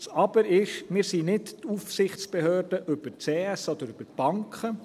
Das Aber ist: Wir sind nicht die Aufsichtsbehörde über die CS oder die Banken.